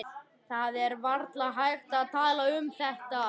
Það er varla hægt að tala um þetta.